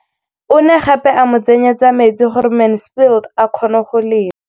O ne gape a mo tsenyetsa metsi gore Mansfield a kgone go lema.